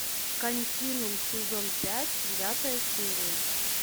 континуум сезон пять девятая серия